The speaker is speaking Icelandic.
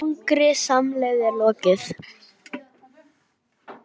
Langri samleið er lokið.